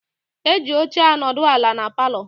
Eji óche anodu ala n' paló.